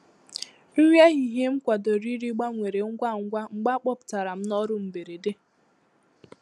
nri ehihie m kwadoro iri gbanwere ngwá ngwá mgbe a kpọpụtara m n’ọrụ mberede.